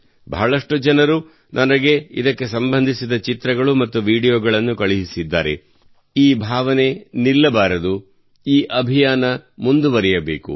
ಬಹಳಷ್ಟು ಜನರು ನನಗೆ ಇದಕ್ಕೆ ಸಂಬಂಧಿಸಿದ ಚಿತ್ರಗಳು ಮತ್ತು ವೀಡಿಯೊಗಳನ್ನು ಕಳುಹಿಸಿದ್ದಾರೆ ಈ ಭಾವನೆ ನಿಲ್ಲಬಾರದು ಈ ಅಭಿಯಾನ ಮುಂದುವರಿಯಬೇಕು